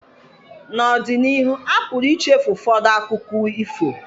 N'ọdịnihu, a pụrụ ichefu ụfọdụ akụkọ ifo